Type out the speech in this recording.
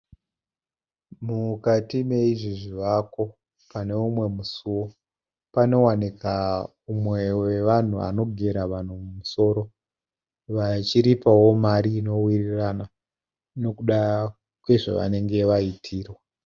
Mukati meizvi zvivako pane umwe musuwo, panowanika umwe wevanhu anogera musoro vachiripa mari inowirirana nezvavanenge vaitirwa.